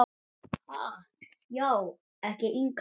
Ha, já ertu ekki yngri!